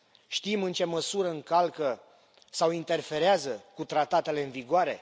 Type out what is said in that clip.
Știm în ce măsură încalcă sau interferează cu tratatele în vigoare?